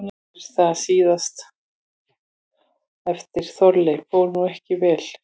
Er það síðan að orðum haft eftir Þorleifi: Fór nú ekki nógu vel, sýslumaður góður?